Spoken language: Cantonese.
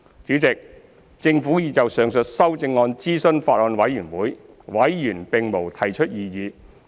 主席，政府已就上述修正案諮詢法案委員會，委員並無提出異議。